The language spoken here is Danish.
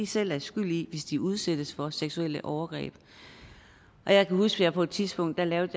selv er skyld i hvis de udsættes for seksuelle overgreb jeg kan huske at jeg på et tidspunkt lavede